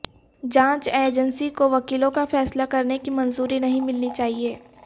جانچ ایجنسی کو وکیلوں کا فیصلہ کرنے کی منظوری نہیں ملنی چاہیے